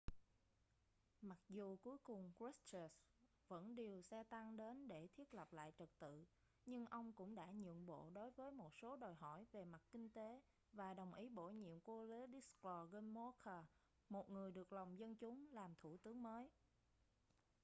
mặc dù cuối cùng krushchev vẫn điều xe tăng đến để thiết lập lại trật tự nhưng ông cũng đã nhượng bộ đối với một số đòi hỏi về mặt kinh tế và đồng ý bổ nhiệm wladyslaw gomulka một người được lòng dân chúng làm thủ tướng mới